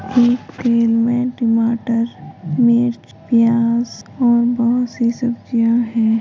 एक फेर मे टमाटर मिर्च प्याज और बहुत सी सब्जियां है।